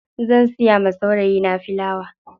Zan siya wa saurayi na filawa.